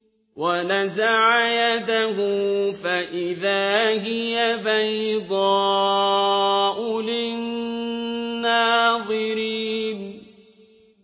وَنَزَعَ يَدَهُ فَإِذَا هِيَ بَيْضَاءُ لِلنَّاظِرِينَ